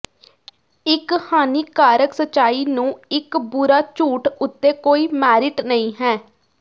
ਇੱਕ ਹਾਨੀਕਾਰਕ ਸੱਚਾਈ ਨੂੰ ਇੱਕ ਬੁਰਾ ਝੂਠ ਉੱਤੇ ਕੋਈ ਮੈਰਿਟ ਨਹੀਂ ਹੈ